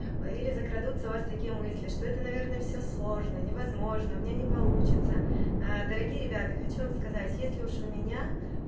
или закрадутся у вас такие мысли что это наверное все сложно невозможно у меня не получится ээ дорогие ребята хочу вам сказать если уж у меня